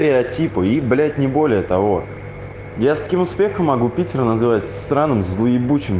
типы и блять не более того я с таким успехом могу питере называется сраном злыебучем